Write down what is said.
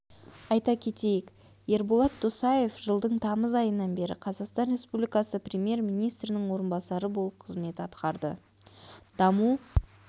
айта кетейік ерболат досаев жылдың тамыз айынан бері қазақстан республикасы премьер-министрінің орынбасары болып қызмет атқарды даму